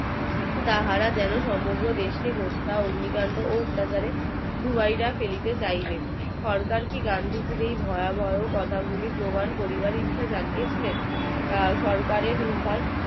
তাহারা যেন সমগ্র দেশ কে হত্যার অগ্নিকান্ড ও অত্যাচারে ডুবাইয়া ফেলিতে চাইবেন সরকার গান্ধীজির এই ভয়াবহ কথা গুলি প্রমান করার ইচ্ছা জানিয়েছিলেন সরকারের উভয়